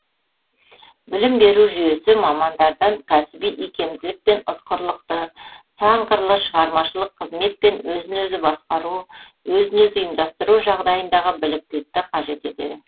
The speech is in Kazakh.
білім беру жүйесі мамандардан кәсіби икемділік пен ұтқырлықты сан қырлы шығармашылық қызмет пен өзін өзі басқару өзін өзі ұйымдастыру жағдайындағы біліктілікті қажет етеді